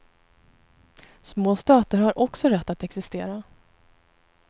Små stater har också rätt att existera.